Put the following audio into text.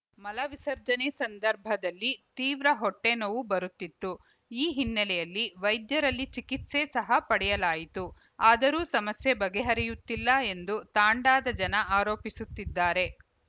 ಮಲ ವಿಸರ್ಜನೆ ಸಂದರ್ಭದಲ್ಲಿ ತೀವ್ರ ಹೊಟ್ಟೆನೋವು ಬರುತ್ತಿತ್ತು ಈ ಹಿನ್ನೆಲೆಯಲ್ಲಿ ವೈದ್ಯರಲ್ಲಿ ಚಿಕಿತ್ಸೆ ಸಹ ಪಡೆಯಲಾಯಿತು ಆದರೂ ಸಮಸ್ಯೆ ಬಗೆಹರಿಯುತ್ತಿಲ್ಲ ಎಂದು ತಾಂಡಾದ ಜನ ಆರೋಪಿಸುತ್ತಿದ್ದಾರೆ